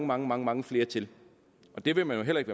mange mange mange flere til og det vil man jo heller ikke